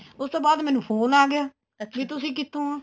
ਉਸ ਤੋਂ ਬਾਅਦ ਮੈਨੂੰ phone ਆ ਗਿਆ actually ਤੁਸੀਂ ਕਿੱਥੋ ਓ